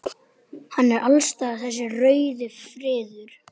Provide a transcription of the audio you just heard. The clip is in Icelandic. Hann er alls staðar þessi rauði friður.